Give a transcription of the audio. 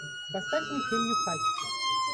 поставь мне фильм нюхач